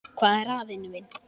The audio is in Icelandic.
Hvað er að, vinur minn?